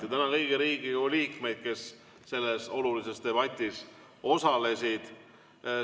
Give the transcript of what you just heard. Ja tänan kõiki Riigikogu liikmeid, kes selles olulises debatis osalesid.